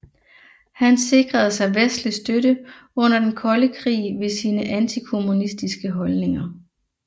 Han sikrede sig vestlig støtte under den kolde krig ved sine antikommunistiske holdninger